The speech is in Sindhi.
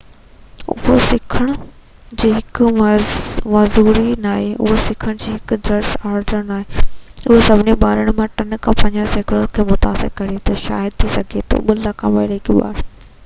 اهو سکڻ جي هڪ معذوري ناهي اهو سکڻ جو هڪ ڊس آرڊر آهي اهو سڀني ٻارن مان 3 کان 5 سيڪڙو کي متاثر ڪري ٿو شايد ٿي سگهي ٿو 2 لک آمريڪي ٻار